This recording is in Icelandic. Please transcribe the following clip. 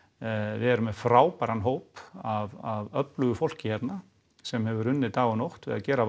við erum með frábæran hóp af öflugu fólki hérna sem hefur unnið dag og nótt við að gera